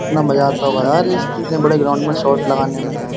कितना मजा आता होगा यार इस इतने बड़े ग्राउंड में शॉट लगाने में।